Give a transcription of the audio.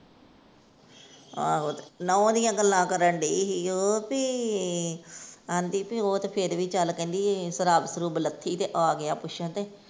ਆਹੋ ਤੇ ਨੂੰਹ ਦੀਆਂ ਗੱਲਾਂ ਕਰਨ ਦਈ ਸੀ। ਉਹ ਭੀ ਆਹਂਦੀ ਭੀ ਉਹ ਤੇ ਫੇਰ ਵੀ ਚੱਲ ਕਹਿੰਦੀ ਸ਼ਰਾਬ ਸ਼ਰੂਬ ਲੱਥੀ ਤੇ ਆਗਿਆ ਪਿੱਛੋਂ ਤੇ।